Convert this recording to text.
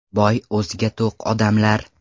Boy o‘ziga-to‘q odamlar.